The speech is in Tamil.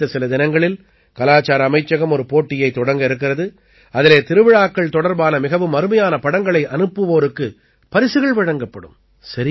அடுத்த சில தினங்களில் கலாச்சார அமைச்சகம் ஒரு போட்டியைத் தொடங்க இருக்கிறது அதிலே திருவிழாக்கள் தொடர்பான மிகவும் அருமையான படங்களை அனுப்புவோருக்குப் பரிசுகள் வழங்கப்படும்